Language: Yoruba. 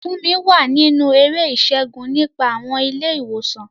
Funmi wà nínú eré ìṣègùn nípa àwọn ilé ìwòsàn.